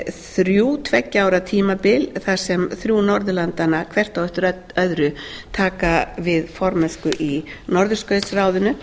þrjú tveggja ára tímabil þar sem þrjú norðurlandanna hvert á eftir öðru taka við formennsku í norðurskautsráðinu